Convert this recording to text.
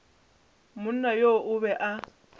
monna yo o be a